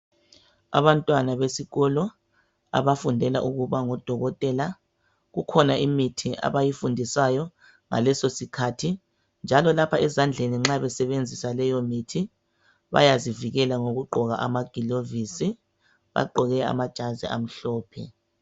Abantwana besikolo abafundela ukuba ngodokotela, kukhona imithi abayifundiswayo ngaleso sikhathi, njalo lapha ezadleni nxa besebenzisa leyo mithi bayazivikela ngokugqoka amagilovisi, bagqoke amajazi amhlophe.